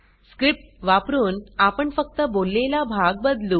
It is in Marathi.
स्क्रिप्ट वापरून आपण फक्त बोललेला भाग बदलू